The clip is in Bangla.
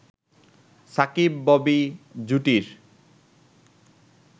সাকিব-ববি জুটির